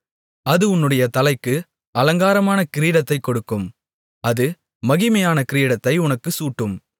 அது உன்னுடைய தலைக்கு அலங்காரமான கிரீடத்தைக் கொடுக்கும் அது மகிமையான கிரீடத்தை உனக்குச் சூட்டும்